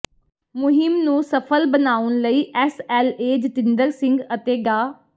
ਮੁਹਿੰਮ ਨੂੰ ਸਫ਼ਲ ਬਣਾਉਣ ਲਈ ਐਸਐਲਏ ਜਤਿੰਦਰ ਸਿੰਘ ਅਤੇ ਡਾ